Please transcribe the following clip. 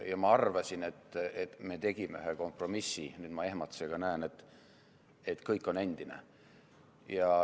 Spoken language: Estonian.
Ja ma arvasin, et me tegime ühe kompromissi, aga nüüd ma ehmatusega näen, et kõik on endine.